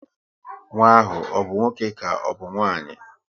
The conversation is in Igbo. Nwa ahụ ọ bụ nwoke ka ọbụ nwanyị?